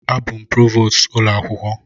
Abụ m Prevost ụlọ akwụkwọ.